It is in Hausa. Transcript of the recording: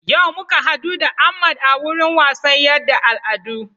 Yau muka hadu da Ahmad a wurin wasan yaɗa al'adu